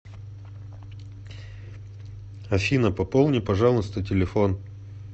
афина пополни пожалуйста телефон